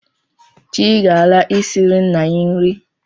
Chii ga-ala, isiri nna ya nri